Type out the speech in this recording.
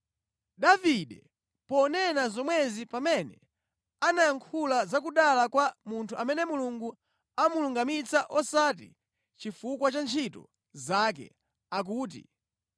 Davide ponena zomwezi pamene anayankhula za kudala kwa munthu amene Mulungu amulungamitsa osati chifukwa cha ntchito zake akuti,